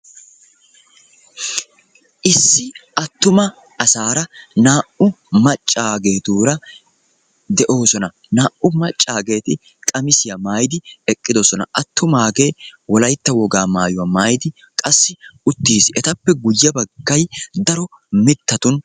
Issi attuma asaara naa"u maccaageetura de'oosona. Naa"u maccageeti qamisiya maayidi eqqiddossona. Attumagee wolaytta wogaa maayuwa maayidi qassi uttiis, etappe guye baggay daro mitattun..